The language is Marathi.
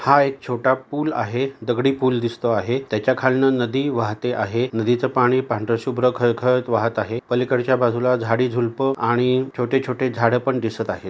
हा छोटा पूल आहे दगडी पूल दिसतो आहे त्याच्याखालन नदी वाहते आहे नदीचे पाणी पांढरे शुभ्र खळखळत वाहत आहे पलीकडच्या बाजूला झाडी झुलप आणि छोटे छोटे झाड पण दिसत आहे.